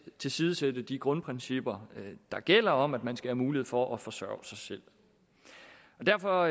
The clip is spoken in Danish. tilsidesætte de grundprincipper der gælder om at man skal have mulighed for at forsørge sig selv derfor